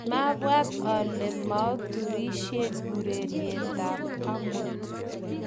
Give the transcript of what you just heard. mabwaat ale muaturisieeng urerietab amut